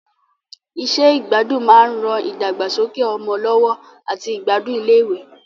Iṣẹ́ ìgbádùn máa ń ran ìdàgbàsókè ọmọ lọ́wọ́ àti ìgbádùn iléèwé